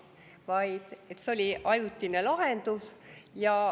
Arvati, et see on ajutine lahendus.